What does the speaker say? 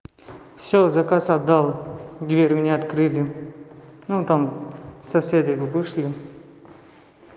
всё заказ отдал дверь мне открыли ну там соседи его вышли